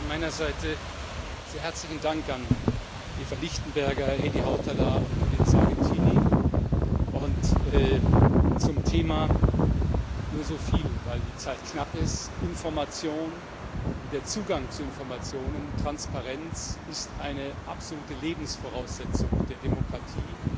Zunächst auch von meiner Seite sehr herzlichen Dank an Eva Lichtenberger, Heidi Hautala und Judith Sargentini. Zum Thema nur so viel, weil die Zeit knapp ist Information und der Zugang zu Informationen sowie Transparenz sind eine absolute Lebensvoraussetzung für Demokratie.